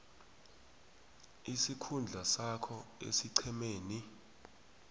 isikhundla sakho esiqhemeni